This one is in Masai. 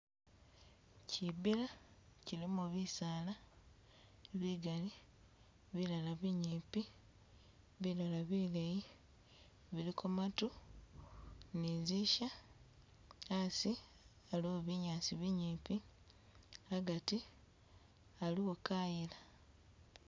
Kyi bila, kyilimo bisaala bigali, bilala binyipi bilala bileyi, biliko matu ni zi'nsya asi aliwo binyaasi binyipi agati aliwo kayila.